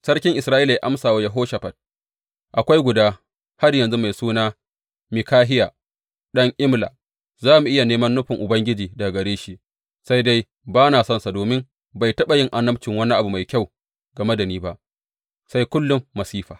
Sarki Isra’ila ya amsa wa Yehoshafat, Akwai guda har yanzu mai suna Mikahiya ɗan Imla, za mu iya nemi nufin Ubangiji daga gare shi, sai dai ba na sonsa domin bai taɓa yin annabci wani abu mai kyau game da ni ba, sai kullum masifa.